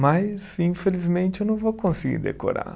Mas, infelizmente, eu não vou conseguir decorar.